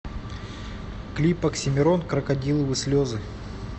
клип оксимирон крокодиловы слезы